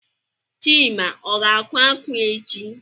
Chima o ga-akwa akwa echi?